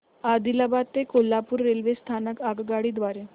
आदिलाबाद ते कोल्हापूर रेल्वे स्थानक आगगाडी द्वारे